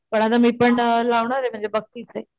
पण आता मी पण लावणारे म्हणजे बघतीये इथे.